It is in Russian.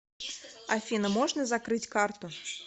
афина можно закрыть карту